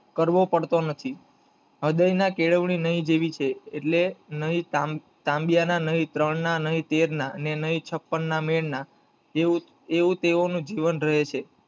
કરવો પડતો નથી , અદય ના કેળવણી નહીં જેવી છે, નહીં તાંબિયા ના, નહીં ત્રણ ના, નહીં તેર ના, નહીં છપ્પન ના મૂળ ના એવું તેમનું જીવન રહે છે